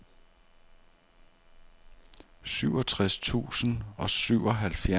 syvogtres tusind og syvoghalvfjerds